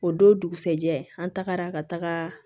O don dugusɛjɛ an tagara ka taga